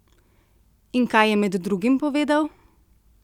In kaj je med drugim povedal?